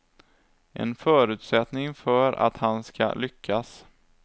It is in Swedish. En förutsättning för att han ska lyckas.